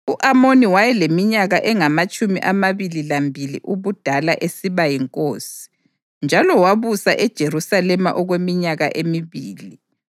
U-Amoni wayeleminyaka engamatshumi amabili lambili ubudala esiba yinkosi, njalo wabusa eJerusalema okweminyaka emibili.